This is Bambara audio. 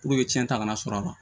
Puruke cɛn ta ka na sɔrɔ a la